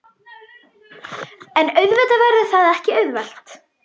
En auðvitað verður það ekki auðvelt